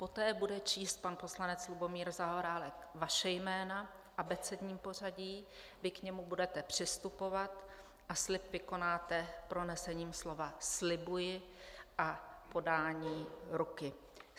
Poté bude číst pan poslanec Lubomír Zaorálek vaše jména v abecedním pořadí, vy k němu budete přistupovat a slib vykonáte pronesením slova "slibuji" a podáním ruky.